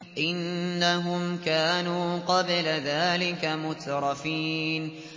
إِنَّهُمْ كَانُوا قَبْلَ ذَٰلِكَ مُتْرَفِينَ